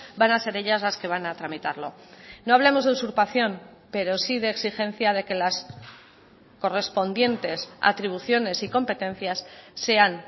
van a ser ellas las que van a tramitarlo no hablamos de usurpación pero sí de exigencia de que las correspondientes atribuciones y competencias sean